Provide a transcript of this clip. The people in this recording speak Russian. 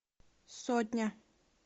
сотня